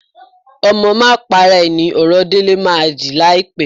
Ọmọ máa para à ni ọ̀rọ̀ Délé máa dì láìpẹ́